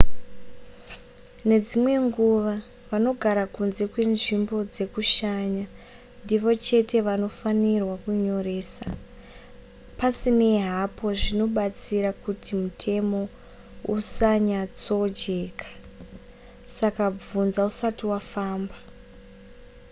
nedzimwe nguva vanogara kunze kwenzvimbo dzekushanya ndivo chete vanofanirwa kunyoresa pasinei hapo zvinobatsira kuti mutemo usanyatsojeka saka bvunza usati wafamba